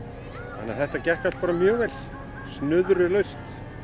þannig að þetta gekk allt mjög vel snuðrulaust